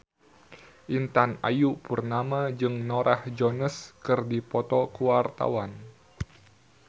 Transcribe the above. Intan Ayu Purnama jeung Norah Jones keur dipoto ku wartawan